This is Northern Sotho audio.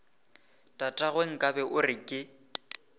tatagwe nkabe o re ke